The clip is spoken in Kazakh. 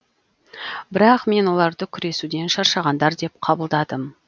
бірақ мен оларды күресуден шаршағандар деп қабылдадым